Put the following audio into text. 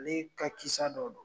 Ale ka kisa dɔ don.